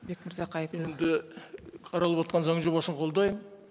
бекмырза қаралып отырған заң жобасын қолдаймын